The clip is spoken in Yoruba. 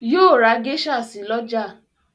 Yóò ra geisha si lọ́la